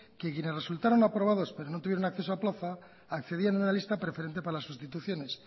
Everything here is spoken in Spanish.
que quienes resultaran aprobados pero no tuvieran acceso a plaza accedían a una lista preferente para las sustituciones